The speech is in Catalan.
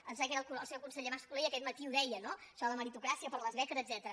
em sembla que era el seu conseller mas colell aquest matí ho deia no això de la meritocràcia per a les beques etcètera